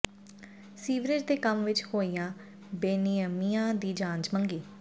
sewerage ਦੇ ਕੰਮ ਵਿੱਚ ਹੋਈਆਂ ਬੇਨਿਯਮੀਆਂ ਦੀ ਜਾਂਚ ਮੰਗੀ